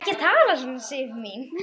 Ekki tala svona, Sif mín!